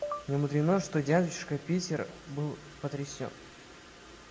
немудрено что дядюшка питер был потрясен